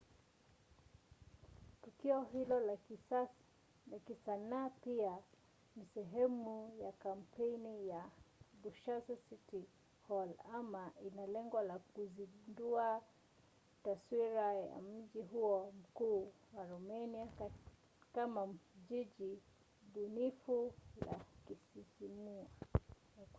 tukio hilo la kisanaa pia ni sehemu ya kampeni ya bucharest city hall ambayo ina lengo la kuzindua taswira ya mji huo mkuu wa romania kama jiji bunifu la kusisimua